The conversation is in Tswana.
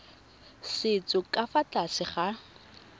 setso ka fa tlase ga